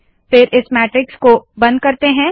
फिर इस मैट्रिक्स को बंद करते है